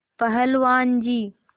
पहलवान जी